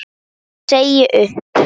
Ég segi upp!